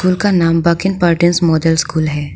School का नाम बाकिन पर्टिंस मॉडल स्कूल है।